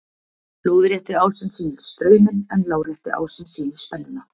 lóðrétti ásinn sýnir strauminn en lárétti ásinn sýnir spennuna